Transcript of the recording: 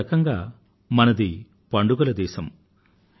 ఒక రకంగా మనది పండుగల దేశం